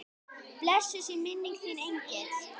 Blessuð sé minning þín engill.